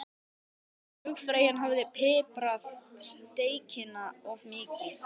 Flugfreyjan hafði piprað steikina of mikið.